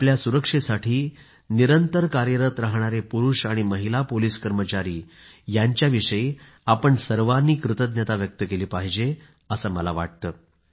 आमच्या सुरक्षेसाठी निरंतर कार्यरत राहणारे पुरूष आणि महिला पोलिस कर्मचारी यांच्याविषयी आपण सर्वांनी कृतज्ञता व्यक्त केली पाहिजे असं मला वाटतं